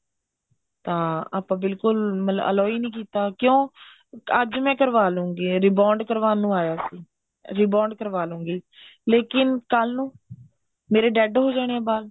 ਹਾਂ ਬਿਲਕੁਲ ਆਪਾਂ allow ਹੀ ਨਹੀਂ ਕੀਤਾ ਕਿਉਂ ਅੱਜ ਮੈਂ ਕਰਵਾ ਲੂੰਗੀ rebound ਕਰਵਾਣ ਨੂੰ ਆਇਆ ਸੀ rebound ਕਰਵਾ ਲੂੰਗੀ ਲੇਕਿਨ ਕੱਲ ਨੂੰ ਮੇਰੇ dead ਹੋ ਜਾਣੇ ਆ ਵਾਲ